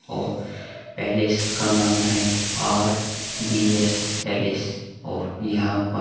और पैलेस का नाम है आर बी एस पैलेस और यहां पर --